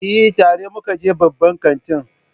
Eh, tare muka je babban kantin